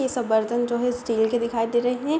ये सब बर्तन जो हैं स्टील के दिखाई दे रहे हैं।